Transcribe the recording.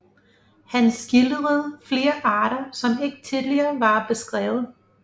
Han skildrede flere arter som ikke tidligere var beskrevet